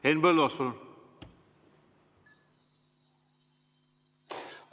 Henn Põlluaas, palun!